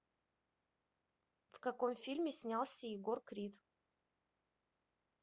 в каком фильме снялся егор крид